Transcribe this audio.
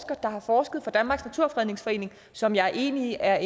der har forsket for danmarks naturfredningsforening som jeg er enig i er